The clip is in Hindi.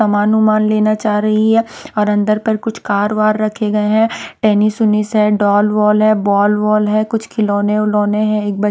समान उमान लेना चाह रही है और अंदर पर कुछ कार वार रखे गए हैं टेनिस उनिस है डॉल वॉल है बॉल वॉल है कुछ खिलौने उलोने हैं एक--